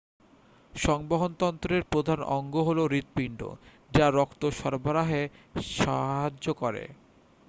সংবহনতন্ত্রের প্রধান অঙ্গ হল হৃৎপিণ্ড যা রক্ত সরবরাহে সাহায্য করে